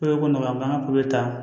Pere ko nɔgɔya b'an kan ka pikiri ta